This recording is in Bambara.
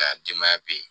A denbaya be yen